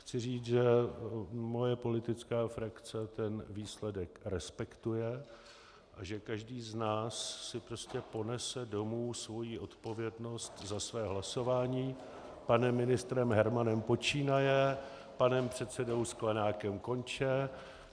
Chci říct, že moje politická frakce ten výsledek respektuje, že každý z nás si prostě ponese domů svoji odpovědnost za své hlasování panem ministrem Hermanem počínaje a panem předsedou Sklenákem konče.